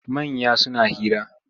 Manya suna hira.